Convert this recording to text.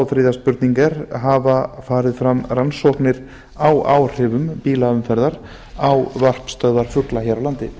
þriðja hafa farið fram rannsóknir á áhrifum bílaumferðar á varpstöðvar hér á landi